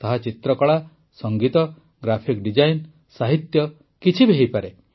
ତାହା ଚିତ୍ରକଳା ସଙ୍ଗୀତ ଗ୍ରାଫିକ ଡିଜାଇନ ସାହିତ୍ୟ କିଛି ବି ହୋଇପାରେ